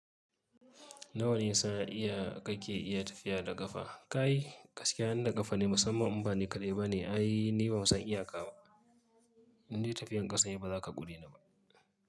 Na wa ne sa iya kake iya tafiya da ƙafa? Kai gaskiya yanda da kafaɗi, musamman in bani kaɗai ba ne ai ni bansan iya ka ba. Ni tafiyar ƙasa ne ba zaka ƙure ni ba.